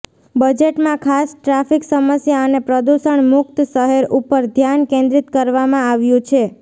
બજેટમાં ખાસ ટ્રાફિક સમસ્યા અને પ્રદુષણ મુક્ત શહેર ઉપર ધ્યાન કેન્દ્રીત કરવામાં આવ્યું છે